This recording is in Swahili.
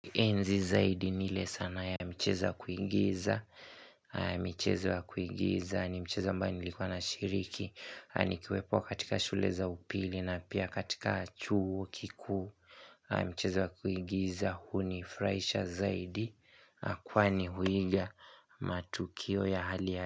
Enzi zaidi ni ile sanaa ya mchezo wa kuigiza michezo wa kuingiza ni mcheza ambayo nilikuwa nashiriki nikiwepo katika shule za upili na pia katika chuo kikuu Micheza wa kuigiza hunifurahisha zaidi kwani huiga matukio ya hali ya.